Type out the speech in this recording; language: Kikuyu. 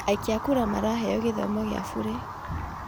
Aikia a kura maraheo gĩthomo gĩa burĩ